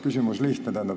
Küsimus lihtne.